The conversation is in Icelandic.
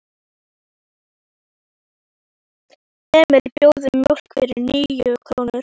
Emil bað um mjólk fyrir níu krónur.